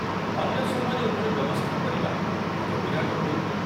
ଅନ୍ୟ ସମୟରେ ଏଭଳି ବ୍ୟବସ୍ଥା କରିବା ଏକ ବିରାଟ ଭୁଲ।